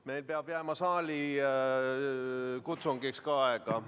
Meil peab jääma saalikutsungiks ka aega.